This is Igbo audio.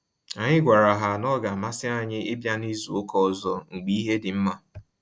Anyị gwara ha na-ọ ga amasị anyị ịbịa na izu ụka ọzọ mgbe ihe dị nma